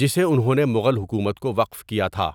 جسے انہوں نے مغل حکومت کو وقف کیا تھا۔